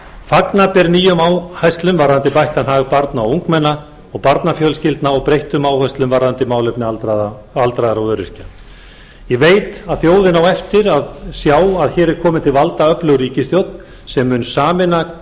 fagna ber nýjum áherslum varðandi bættan hag barna og ungmenna og barnafjölskyldna og breyttum áherslum varðandi málefni aldraðra og öryrkja ég veit að þjóðin á eftir að sjá að hér er komin til valda öflug ríkisstjórn sem mun sameina